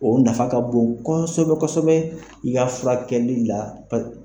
O nafa ka bon kosɛbɛ kosɛbɛ i ka furakɛli la.